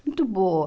Muito boa.